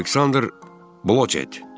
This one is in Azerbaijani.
Aleksandr Blokçet.